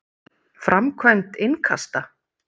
Framkvæmd innkasta?